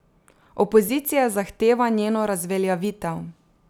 Opozicija zahteva njeno razveljavitev.